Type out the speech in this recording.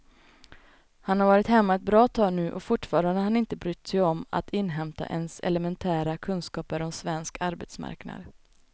Han har varit hemma ett bra tag nu och fortfarande har han inte brytt sig om att inhämta ens elementära kunskaper om svensk arbetsmarknad.